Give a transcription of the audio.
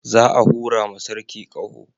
Za a hura ma sarki ƙaho